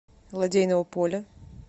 лодейного поля